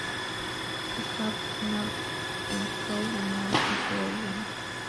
поставь намб энд фрозен намб и фрозен